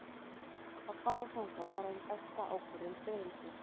Að fara þangað var ein besta ákvörðun ferilsins.